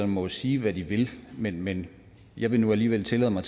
må jo sige hvad de vil men men jeg vil nu alligevel tillade mig